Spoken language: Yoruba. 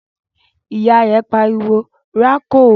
Ìyá rẹ̀ pariwo "rákò!"